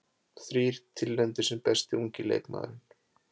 Þrír tilnefndir sem besti ungi leikmaðurinn